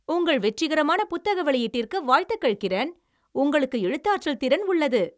உங்கள் வெற்றிகரமான புத்தக வெளியீட்டிற்கு வாழ்த்துகள், கிரண், உங்களுக்கு எழுத்தாற்றல் திறன் உள்ளது.